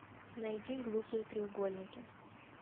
найди глупые треугольники